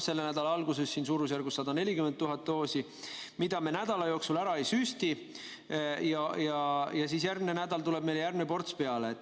Selle nädala alguses on suurusjärgus 140 000 doosi, mida me nädala jooksul ära ei süsti, ja siis järgmine nädal tuleb uus ports peale.